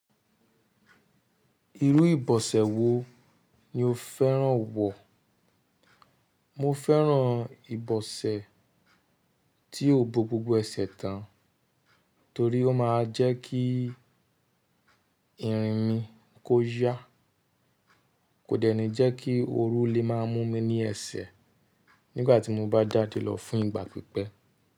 Irú ìbọ̀sẹ̀ wo ni o fẹ́ràn wọ̀? Mo fẹ́ràn ìbọ̀sẹ̀ tí ó bo gbogbo ẹsẹ̀ tán torí ó máa ń jẹ́ kí irin mi kó yá, kò dènì jẹ́ kí ooru lè máa mú mi ní ẹsẹ̀ nígbà tí mo bá jáde lọ fún ìgbà pípẹ́.